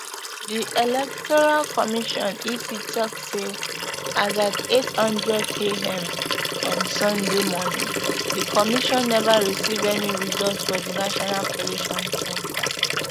di electoral commission ec tok say as at eight hundredam on sunday morning di commission neva receive any result for di national collation centre